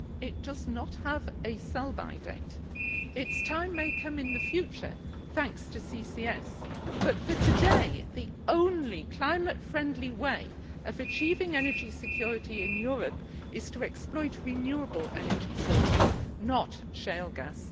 It does not have a sell by date. Its time may come in the future, thanks to CCS, but, for today, the only climate friendly way of achieving energy security in Europe is to exploit renewable energy sources, not shale gas.